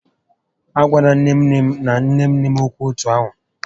A gwala nné nné m na nné nné m ókwú etu ahụ!